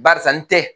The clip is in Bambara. Barisa n tɛ